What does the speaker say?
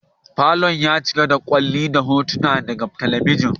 Falon ya cika da kyalli da hotuna daga talabijin.